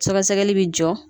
Sɛgɛsɛgɛli bi jɔ.